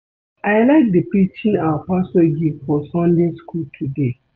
I like the preaching our pastor give for Sunday school today